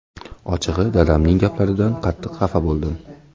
Ochig‘i, dadamning gaplaridan qattiq xafa bo‘ldim.